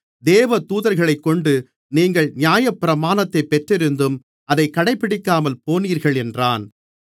தேவதூதர்களைக்கொண்டு நீங்கள் நியாயப்பிரமாணத்தைப் பெற்றிருந்தும் அதைக் கடைபிடிக்காமல்போனீர்கள் என்றான்